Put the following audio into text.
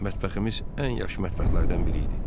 Mətbəximiz ən yaxşı mətbəxlərdən biri idi.